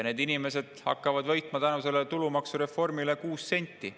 Need inimesed, kes sellist palka saavad, võidavad tänu sellele tulumaksureformile 6 senti.